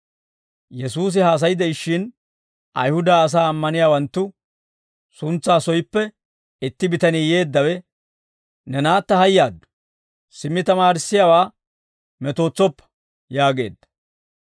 Yesuusi haasay de'ishshin, Ayihuda asaa ammaniyaawanttu suntsaa soyippe itti bitanii yeeddawe, «Ne naatta hayyaaddu; simmi tamaarissiyaawaa metootsoppa» yaageedda.